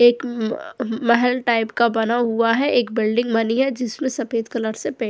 एक म म महल टाईप का बना हुआ है एक बिल्डिंग बनी है जिसमें सफेद कलर से पे --